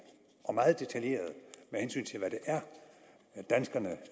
og meget detaljerede med hensyn til hvad det er danskerne